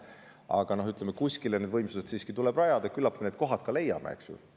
Aga no kuskile tuleb need võimsused siiski rajada ja küllap me need kohad ka leiame, eks ju.